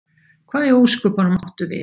Hvað í ósköpunum áttu við?